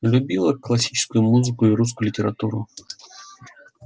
любила классическую музыку и русскую литературу